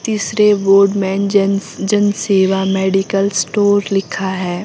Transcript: तीसरे बोर्ड में Jan Jan Seva medical store लिखा है।